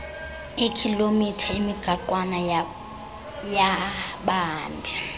eekhilomitha emigaqwana yabahambi